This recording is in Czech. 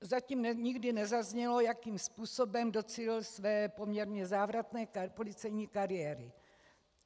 Zatím nikdy nezaznělo, jakým způsobem docílil své poměrně závratné policejní kariéry.